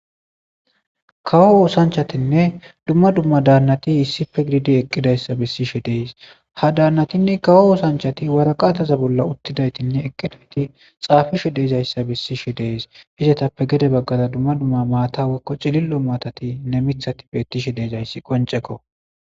kawo oosanchatinne dumma dumma daannati issife gididi eqqidayssa bessishe dees ha daannatinne kawo oosanchati waraqataza bolla uttidaytinne eqqidayti xaafishe deezayssa bessishe dees hizatappe gede baggaza dumma dumma maata wekko cilillo maatatine mithati bettishe deezayssi qonceko